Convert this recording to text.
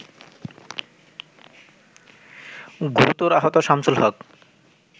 গুরুতর আহত শামছুলহক